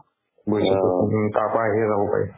বুজিছাতো উম তাৰ পৰা আহিহে যাব পাৰিম